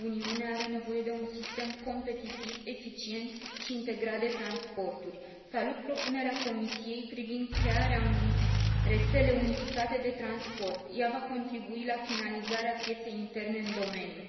Uniunea are nevoie de un sistem competitiv, eficient și integrat de transporturi. Salut propunerea Comisiei privind crearea unei rețele unificate de transport. Ea va contribui la finalizarea pieței interne în domeniu.